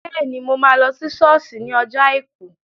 Bẹ́ẹ̀ni, mo máa lọ sí sọ́ọ̀sì ní ọjọ́ àìkú